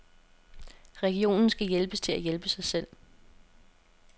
Regionen skal hjælpes til at hjælpe sig selv.